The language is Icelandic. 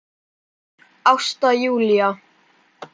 Ásta Júlía.